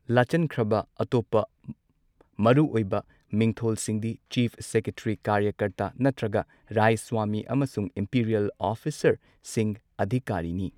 ꯂꯥꯆꯟꯈ꯭ꯔꯕ ꯑꯇꯣꯞꯄ ꯃꯔꯨꯑꯣꯏꯕ ꯃꯤꯡꯊꯣꯜꯁꯤꯡꯗꯤ ꯆꯤꯐ ꯁꯦꯀ꯭ꯔꯦꯇꯔꯤ ꯀꯥꯔꯌꯀꯔꯇꯥ ꯅꯠꯇ꯭ꯔꯒ ꯔꯥꯢꯁ꯭ꯋꯥꯃꯤ ꯑꯃꯁꯨꯡ ꯏꯝꯄꯤꯔꯤꯑꯦꯜ ꯑꯣꯐꯤꯁꯥꯔꯁꯤꯡ ꯑꯙꯤꯀꯥꯔꯤ ꯅꯤ꯫